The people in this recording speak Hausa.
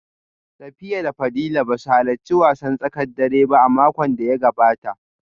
Safiya da Fadila ba su halarci wasan tsakar dare ba a makon da ya gabata